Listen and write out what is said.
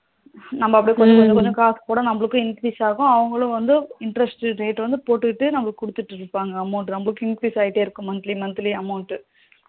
நம்ம அப்டி கொஞ்சம் கொஞ்சம் காசு போடா நமளுக்கும் increase ஆகும் அவங்களுக்கும் வந்து interest rate போட்டுட்டு நமளுக்கு குடுத்துட்டு இருப்பாங்க amount நமளுக்கு increase ஆகிட்டே இருக்கும் monthly monthly amount டு